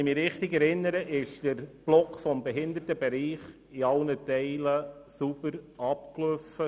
Wenn ich mich richtig erinnere, ist der Themenblock Behindertenbereich in allen Teil sauber abgewickelt worden.